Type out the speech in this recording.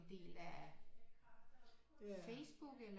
Del af Facebook eller